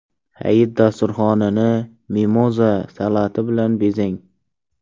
Hayit dasturxonini mimoza salati bilan bezang.